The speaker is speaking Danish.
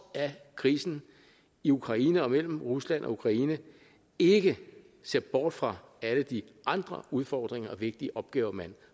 af krisen i ukraine og mellem rusland og ukraine ikke ser bort fra alle de andre udfordringer og vigtige opgaver man